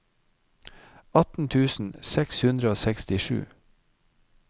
atten tusen seks hundre og sekstisju